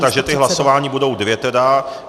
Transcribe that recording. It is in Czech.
Takže ta hlasování budou dvě tedy.